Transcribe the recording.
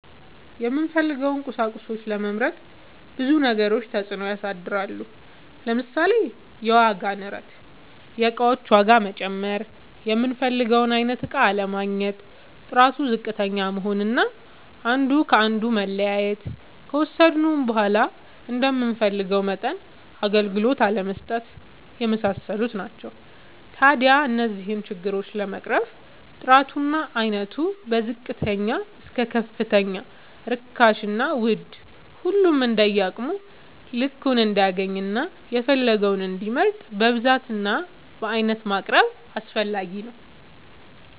የምንፈልገውን ቁሳቁሶች ለመምረጥ ብዙ ነገሮች ተፅእኖ ያሳድራሉ። ለምሳሌ፦ የዋጋ ንረት(የእቃዎች ዋጋ መጨመር)፣ የምንፈልገውን አይነት እቃ አለማግኘት፣ ጥራቱ ዝቅተኛ መሆን አና አንዱ ከአንዱ መለያየት፣ ከወሰድነውም በዃላ እንደምንፈልገው መጠን አገልግሎት አለመስጠት የመሳሰሉት ናቸው። ታዲያ እነዚህን ችግሮች ለመቅረፍ ጥራቱ እና አይነቱ ከዝቅተኛ እስከ ከፍተኛ ርካሽና ውድ ሁሉም እንደየአቅሙ ልክ እንዲያገኝና የፈለገውን እንዲመርጥ በብዛት እና በአይነት ማቅረብ አስፈላጊ ነው።